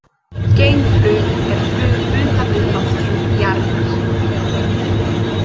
Geimflug er flug utan við lofthjúp Jarðar.